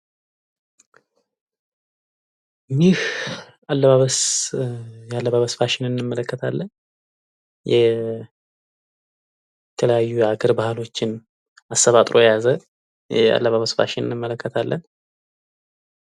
ይህ አለባበስ ያለባበስ ፋሽንን እንመለከታለን የተለያዩ የሀገር ባህሎችን አሰባጥሮ የያዘ የአለባበስ ፋሽንን እንመለከታለን።